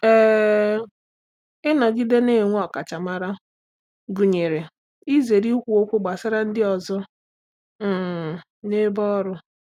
um Ịnọgide na-enwe ọkachamara gụnyere izere ikwu okwu gbasara ndị ọzọ um n’ebe ọrụ.